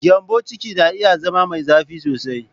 Gyambon ciki na iya zama mai zafi sosai.